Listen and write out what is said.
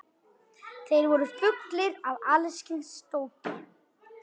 Þeir voru fullir af alls kyns dóti.